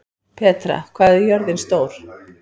Petra, hvað er jörðin stór?